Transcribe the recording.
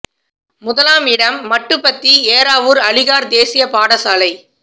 முதலாம் இடம் மட்டு மத்தி ஏறாவுர் அலிகார் தேசிய பாடசாலை